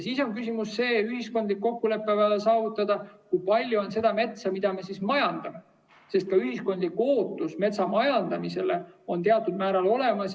Siis on küsimus, et on vaja see ühiskondlik kokkulepe saavutada, kui palju on seda metsa, mida me majandame, sest ka ühiskondlik ootus metsamajandamisele on teatud määral olemas.